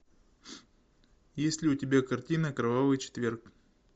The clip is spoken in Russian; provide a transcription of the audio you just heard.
есть ли у тебя картина кровавый четверг